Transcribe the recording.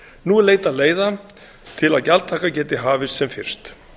nú er leitað leiða til að gjaldtaka geti hafist sem fyrst